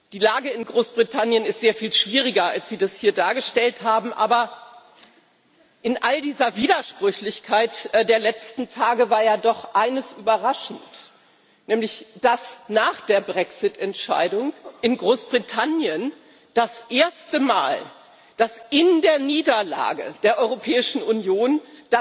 Die Lage in Großbritannien ist sehr viel schwieriger, als Sie das hier dargestellt haben. Aber in all dieser Widersprüchlichkeit der letzten Tage war ja doch eines überraschend, nämlich dass nach der Brexit Entscheidung in Großbritannien, dass in der Niederlage der Europäischen Union zum